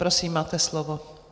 Prosím, máte slovo.